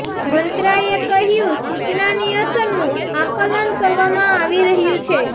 મંત્રાલય એ કહ્યું સૂચનાની અસરનું આકલન કરવામાં આવી રહ્યું છે